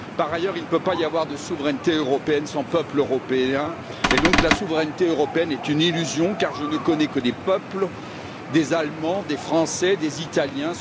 Par ailleurs, il ne peut y avoir de souveraineté européenne sans peuple européen, et donc la souveraineté européenne est une illusion car je ne connais que des peuples, des Allemands, des Français et des Italiens.